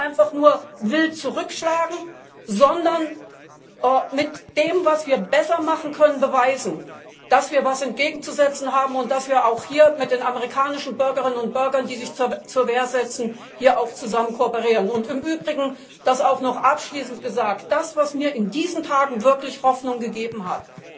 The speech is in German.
Aber nicht einfach nur wild zurückschlagen, sondern mit dem, was wir besser machen können, beweisen, dass wir etwas entgegenzusetzen haben und dass wir mit den amerikanischen Bürgerinnen und Bürgern, die sich zur Wehr setzen, hier auch kooperieren. Im Übrigen das auch noch abschließend gesagt Das, was mir in diesen Tagen wirklich Hoffnung gegeben